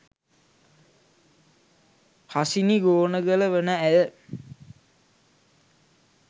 හසිනි ගෝනගල වන ඇය